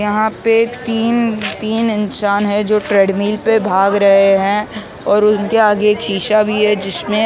यहाँ पे तीन तीन इंसान है जो ट्रेड्मिल पे भाग रहे है और उनके आगे एक शीशा भी है जिसमें अलग--